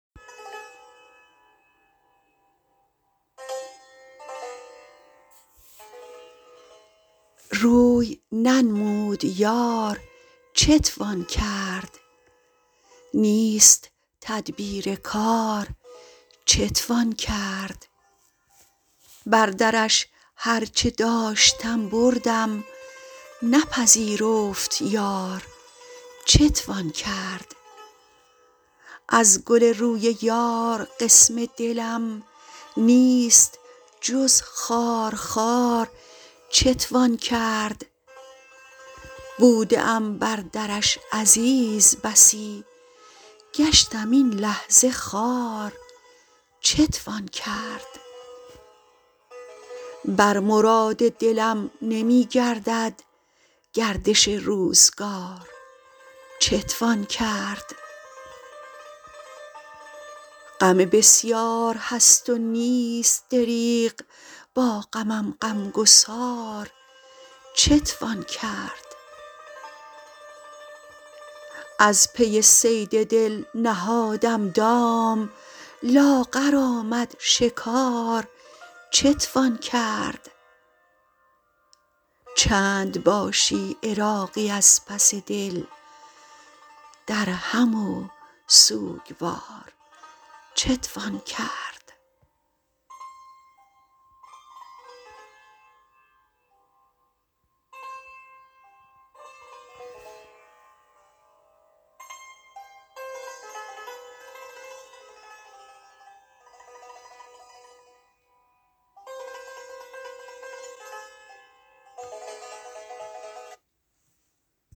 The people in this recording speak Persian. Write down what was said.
روی ننمود یار چتوان کرد نیست تدبیر کار چتوان کرد بر درش هر چه داشتم بردم نپذیرفت یار چتوان کرد از گل روی یار قسم دلم نیست جز خارخار چتوان کرد بوده ام بر درش عزیز بسی گشتم این لحظه خوار چتوان کرد بر مراد دلم نمی گردد گردش روزگار چتوان کرد غم بسیار هست و نیست دریغ با غمم غمگسار چتوان کرد از پی صید دل نهادم دام لاغر آمد شکار چتوان کرد چند باشی عراقی از پس دل درهم و سوگوار چتوان کرد